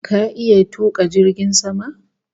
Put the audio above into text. Ka iya tuka jirgin sama?